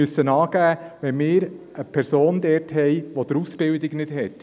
Wir müssen angeben, wenn wir eine Person haben, welche die Ausbildung nicht gemacht hat.